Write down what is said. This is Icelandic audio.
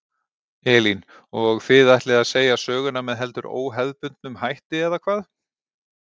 Elín: Og þið ætlið að segja söguna með heldur óhefðbundnum hætti eða hvað?